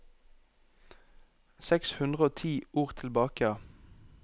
Seks hundre og ti ord tilbake